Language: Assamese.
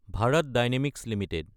Bharat Dynamics Ltd